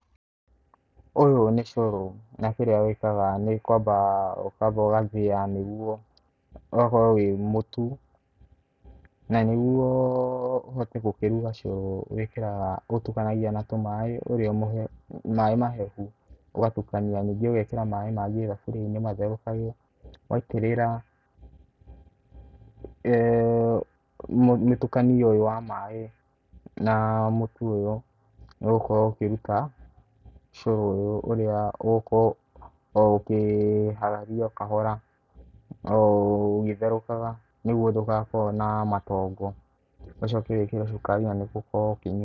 Ũyũ nĩ ũcũrũ na kĩrĩa wĩkaga nĩ kwamba ukamba ũgathia nĩguo ũgakorwo wĩ mũtu. Na nĩguo ũhote gũkĩruga ũcũrũ wĩkĩraga ũtukanagia na tũmai maĩ mahehu ũgatukania ningĩ ugekĩra maĩ mangĩ thaburiainĩ matherũkage. Waitĩrĩra mĩtukanio ũyũ wa maĩ na mũtu ũyũ nĩũgũkorwo ũkĩruta ũcũrũ ũyũ ũrĩa ũgũkorwo o ũkĩhararia o kahora na ũgũtherukaga nĩguo ndũgakorwo na matongo, ucoke wĩkĩre cukari na nĩũgũkorwo ukĩnyua.